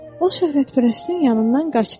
O şöhrətpərəstin yanından qaçdı.